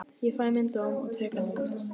Ég fæ minn dóm og tek hann út.